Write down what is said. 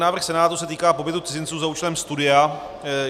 Návrh Senátu se týká pobytu cizinců za účelem studia.